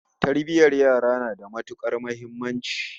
Tarbiyyar yara na da matukar muhimmanci